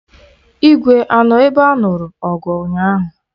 Igwe anọ na ebe anụrụ ọgụ ụnyaahụ?